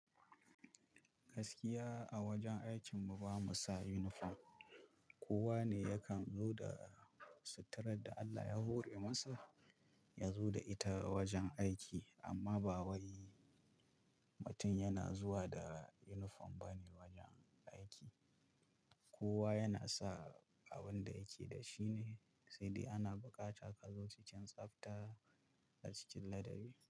Gaskiya a wajen aikin mu bamu sa uniform, kowa ne ya kan zo da suturar da Allah ya hore masa ya zo da ita wajen aiki amma ba wai mutum yana zuwa da uniform bane wajen aiki. Kowa yana sa abin da yake da shi ne sai dai ana buƙatar ka zo cikin tsafta da cikin ladabi.